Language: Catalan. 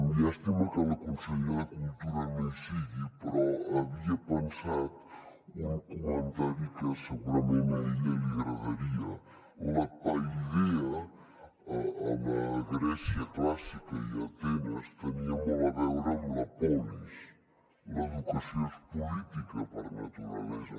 llàstima que la consellera de cultura no hi sigui però havia pensat un comentari que segurament a ella li agradaria la paideia a la gràcia clàssica i a atenes tenia molt a veure amb la polis l’educació és política per naturalesa